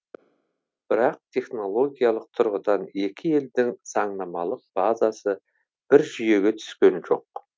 бірақ технологиялық тұрғыдан екі елдің заңнамалық базасы бір жүйеге түскен жоқ